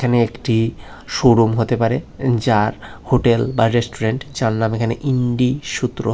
একটি শোরুম হতে পারে যার হোটেল বা রেস্টুরেন্ট যার নাম এখানে ইন্ডি সূত্র।